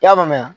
I y'a mɛn